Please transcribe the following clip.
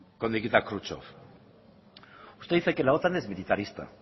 nikita kruschev usted dice que la otan es militarista